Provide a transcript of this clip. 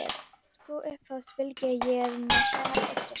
Sko, upphófst Bylgja, ég er með svona eggjastokk.